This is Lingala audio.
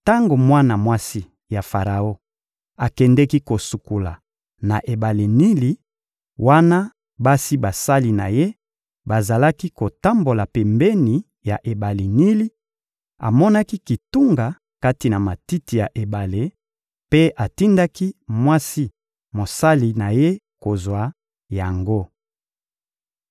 Tango mwana mwasi ya Faraon akendeki kosukola na ebale Nili, wana basi basali na ye bazalaki kotambola pembeni ya ebale Nili, amonaki kitunga kati na matiti ya ebale; mpe atindaki mwasi mosali na ye kozwa yango.